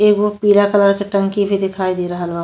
एगो पीला कलर के टंकी भी दिखाई दे रहल बा।